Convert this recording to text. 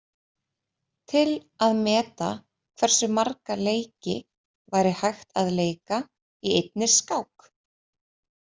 Til að meta hversu marga leiki væri hægt að leika í einni skák.